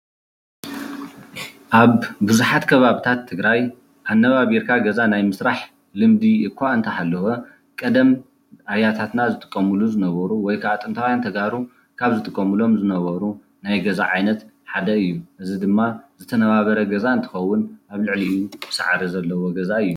ኣብ ቡዛሓት ከባቢታት ትግራይ ኣናባቢርካ ገዛ ናይ ምስራሓ ልምዲ እካ እኒተሃለዎ ቀደም ኣያታትና ዝጥቀሙሎሞ ዝነበሩ ወይካዓ ጥኒታዉያና ተጋሩ ዝጥቀሙሎሞ ዝነበሩ ናይ ገዛ ዓይነት ሓደ እዩ ፡፡ እዝ ድማ ዝተናባበር ገዛ እንትኸዉን ኣብ ሊዑሉዑ ሳዕር ዘለዎ ገዛ እዩ፡፡